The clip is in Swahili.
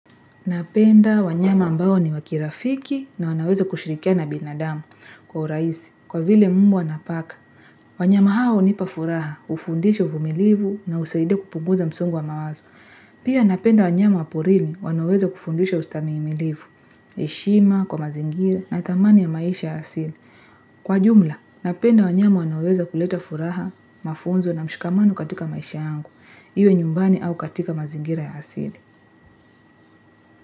Napenda wanyama ambao ni wa kirafiki na wanaweza kushirikiana na binadamu kwa urahisi, kwa vile mbwa na paka. Wanyama hawa hunipa furaha, hufundisha uvumilivu na husaidia kupunguza msongo wa mawazo. Pia napenda wanyama wa porini, wanaoweza kufundisha ustahimilifu, heshima, kwa mazingira natamani maisha ya asili. Kwa jumla, napenda wanyama wanaoweza kuleta furaha, mafunzo na mshikamano katika maisha yangu, iwe nyumbani au katika mazingira ya asili.